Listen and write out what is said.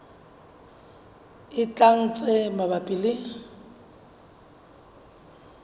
e tlang tse mabapi le